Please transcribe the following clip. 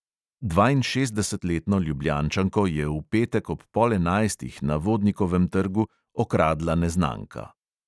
Dvainšestdesetletno ljubljančanko je v petek ob pol enajstih na vodnikovem trgu okradla neznanka.